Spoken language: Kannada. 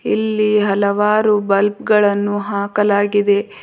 ಇಲ್ಲಿ ಹಲವರು ಬಲ್ಪ್ ಗಳನ್ನು ಹಾಕಲಾಗಿದೆ.